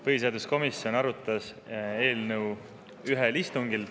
Põhiseaduskomisjon arutas eelnõu ühel istungil.